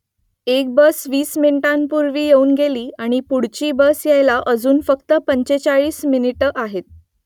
एक बस वीस मिनिटांपूर्वी येऊन गेली आणि पुढची बस यायला अजून फक्त पंचेचाळीस मिनिटं आहेत